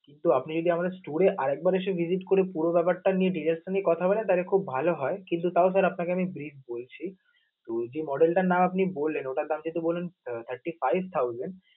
তো আপনি যদি আমাদের store এ আরেকবার এসে visit করে পুরো ব্যাপারটা নিয়ে DG এর সাথে কথা বলেন তাহলে sir খুব ভালো হয় কিন্তু তাও sir আপনাকে আমি bird বলছি. তো যে model টার নাম আপনি বললেন ওটার দাম কিন্তু ধরুন thirty five thousand